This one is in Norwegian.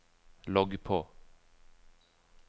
logg på